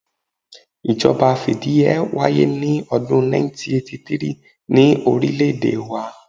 Ìjọba fìdíheẹ́ wáyé ní odún 1983 ni orílẹ̀ èdè wa